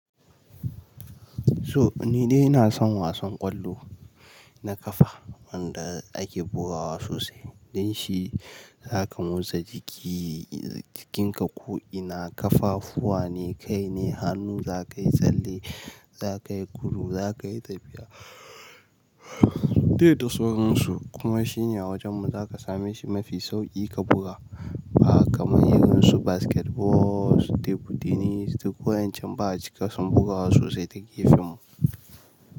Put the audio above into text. So nidai ina son wasan ƙwallo na ƙafa wanda ake bugawa sosai. Don shi za ka motsa jiki, jikinka ko'ina ƙafafuwan ne, kai ne, hannu, zakayi tsalle, zaka yi gudu, zaka yi tafiya. Dai da saurinsu kuma shine a wajen mu za ka same shi mafi sauƙi ka buga ba kamar irin su basketball su table tennis duk wayancan ba'a cika son bugawa sosai ta gefenmu.